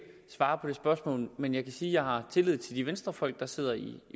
svare på det spørgsmål men jeg kan sige at jeg har tillid til de venstrefolk der sidder i